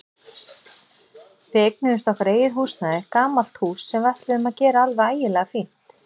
Við eignuðumst okkar eigið húsnæði, gamalt hús sem við ætluðum að gera alveg ægilega fínt.